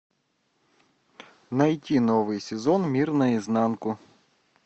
найти новый сезон мир на изнанку